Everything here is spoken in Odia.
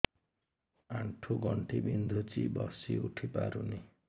ଆଣ୍ଠୁ ଗଣ୍ଠି ବିନ୍ଧୁଛି ବସିଉଠି ପାରୁନି